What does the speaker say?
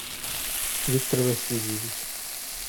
виктор васильевич